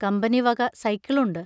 കമ്പനിവക സൈക്കിളുണ്ട്.